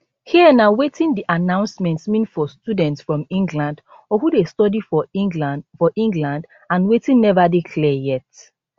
here na wetin di announcement mean for students from england or who dey study for england for england and wetin neva dey clear yet